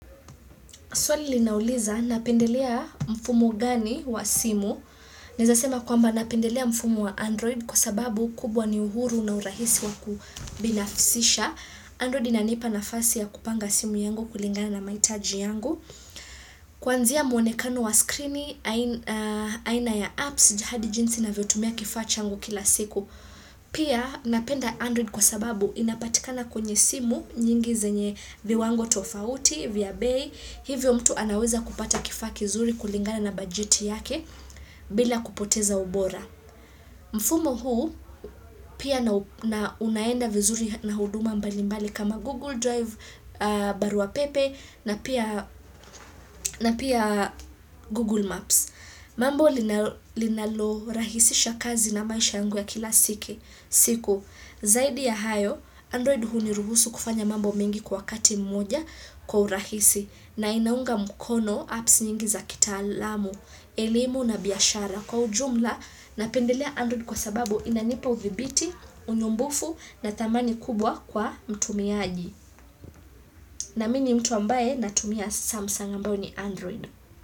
Swali linauliza, napendelea mfumo gani wa simu? Naeza sema kwamba napendelea mfumu wa Android kwa sababu kubwa ni uhuru na urahisi wa kubinafsisha. Android inanipa nafasi ya kupanga simu yangu kulingana na mahitaji yangu. Kuanzia mwonekano wa skrini, aina ya apps, hadi jinsi navyotumia kifaa changu kila siku. Pia napenda Android kwa sababu inapatikana kwenye simu nyingi zenye viwango tofauti, vya bei, hivyo mtu anaweza kupata kifaa kizuri kulingana na bajeti yake bila kupoteza ubora. Mfumo huu pia na unaenda vizuri na huduma mbalimbali kama Google Drive, barua pepe na pia Google Maps. Mambo lina linalo rahisisha kazi na maisha yangu ya kila siku. Zaidi ya hayo, Android huu ni ruhusu kufanya mambo mingi kwa kati mmoja kwa urahisi na inaunga mkono apps nyingi za kitaalam, elemu na biashara kwa ujumla na pendelea Android kwasababu inanipa udhibiti, unyumbufu na dhamani kubwa kwa mtumiaji. Na mimi mtu ambaye natumia Samsung ambayo ni Android.